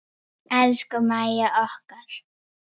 Elsku Mæja okkar.